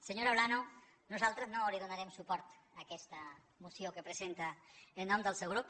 senyora olano nosaltres no donarem suport a aquesta moció que presenta en nom del seu grup